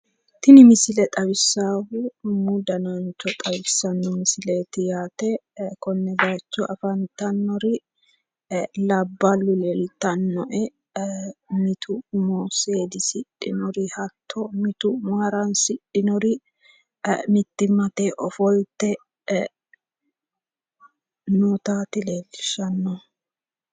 tini misile xawissaahu umu danancho xawissanno misileeti yaate konne bayiicho afantannori labballu leeltannoe mitu umo seedisidhinori hatto mitu umo haransidhinori mittimmate ofolte nootaati leellishshannohu.